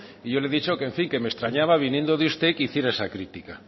y yo le he dicho que en fin que me extrañaba viniendo de usted que hiciera esa crítica